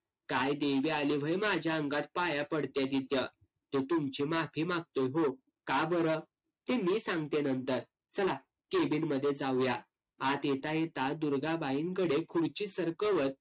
काय देवी आली व्हय माझ्या अंगात पाया पडत्या तिथं. तो तुमची माफी मागतोय हो. का बरं? ते मी सांगते नंतर. चला cabin मध्ये जाऊया. आत येता येता दुर्गाबाईंकडे खुर्ची सरकवत